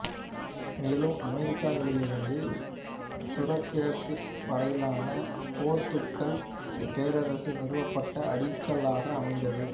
மேலும் அமெரிக்காக்களிலிருந்து தூரக்கிழக்கு வரையிலான போர்த்துக்கல் பேரரசு நிறுவப்பட அடிக்கலாக அமைந்தது